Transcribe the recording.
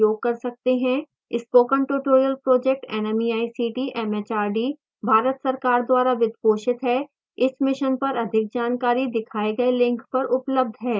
spoken tutorial project nmeict mhrd Bharat सरकार द्वारा वित्त पोषित है इस मिशन पर अधिक जानकारी दिखाए गए लिंक पर उपलब्ध है